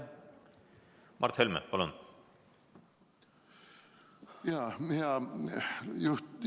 Mart Helme, palun!